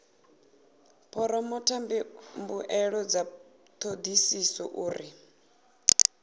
phoromotha mbuelo dza thodisiso uri